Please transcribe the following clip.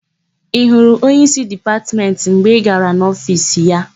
Ị hụrụ onyeísí Dipatmentị mgbe ị gara n'ofiisi ya?